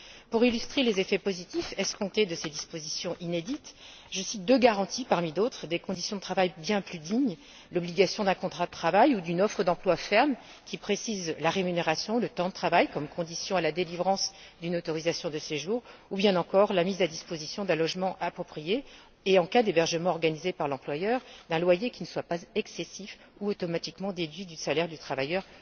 Pour illustrer les effets positifs escomptés de ces dispositions inédites, je cite deux garanties, parmi d'autres, des conditions de travail bien plus dignes l'obligation d'un contrat de travail ou d'une offre d'emploi ferme, qui précise la rémunération et le temps de travail comme condition à la délivrance d'une autorisation de séjour, ainsi que la mise à disposition d'un logement approprié et, en cas d'hébergement organisé par l'employeur, un loyer qui ne soit pas excessif ou automatiquement déduit du salaire du travailleur